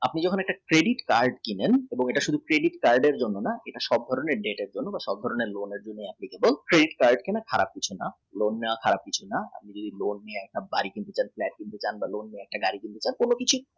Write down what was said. আপনি যখন একটা credit card কিনবেন এবং এটা শুধু credit card এর জন্য এটা সব ধরনের credit card কিন্তু খারাপ কিছু না নাওয়া খারাপ কিছু না যদি আপনি loan নিয়ে বাড়ি কিনতে চান flat কিনতে চান বা অন্য কিছু